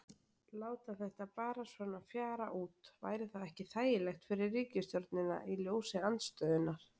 Láta þetta bara svona fjara út, væri það ekki þægilegt fyrir ríkisstjórnina í ljósi andstöðunnar?